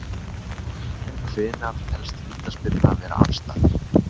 En hvenær telst vítaspyrna vera afstaðin?